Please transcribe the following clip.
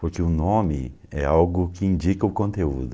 Porque o nome é algo que indica o conteúdo.